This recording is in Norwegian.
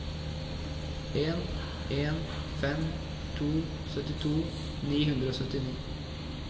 en en fem to syttito ni hundre og syttini